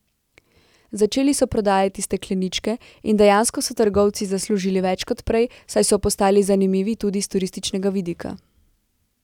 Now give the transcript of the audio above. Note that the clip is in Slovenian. Začeli so prodajati stekleničke in dejansko so trgovci zaslužili več kot prej, saj so postali zanimivi tudi s turističnega vidika.